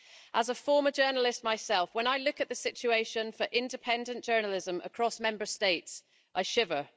As a former journalist myself, when I look at the situation for independent journalism across Member States, I shiver.